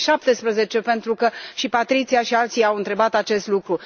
2017? Pentru că și Patrizia și alții au întrebat acest lucru.